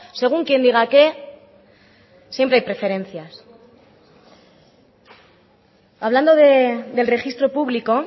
según quien diga que siempre hay preferencias hablando del registro público